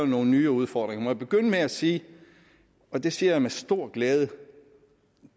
nogle nye udfordringer må jeg begynde med at sige og det siger jeg med stor glæde at